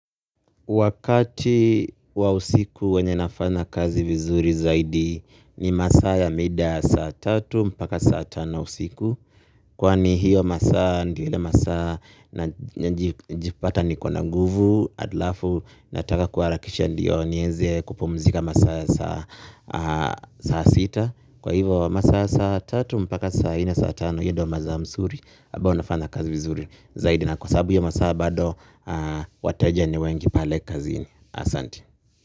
Wakati wa usiku wenye nafanya kazi vizuri zaidi ni masaa ya mida saa tatu mpaka saa tano usiku. Kwani hiyo masaa ndio ile masaa najipata niko na nguvu alafu nataka kuarakisha ndio nieze kupumzika masaa ya saa sita. Kwa hivo masaa ya saa tatu mpaka saa nne saa tano hiyo ndo maza msuri abao nafanya kazi vizuri zaidi. Na kwa sababu ya masaa bado, wateja ni wengi pale kazini. Asanti.